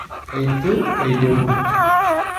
Eitu eidimu.